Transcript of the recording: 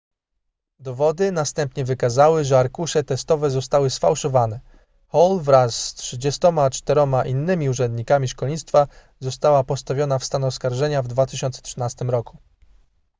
dowody następnie wykazały że arkusze testowe zostały sfałszowane hall wraz z 34 innymi urzędnikami szkolnictwa została postawiona w stan oskarżenia w 2013 roku